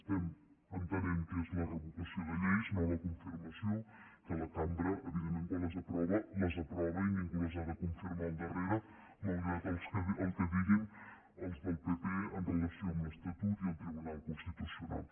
estem entenent que és la revocació de lleis no la confirmació que la cambra evidentment quan les aprova les aprova i ningú les ha de confirmar al darrere malgrat el que diguin els del pp en relació amb l’estatut i el tribunal constitucional